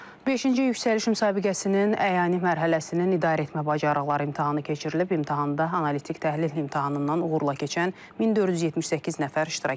Beşinci yüksəliş müsabiqəsinin əyani mərhələsinin idarəetmə bacarıqları imtahanı keçirilib, imtahanda analitik təhlil imtahanından uğurla keçən 1478 nəfər iştirak edib.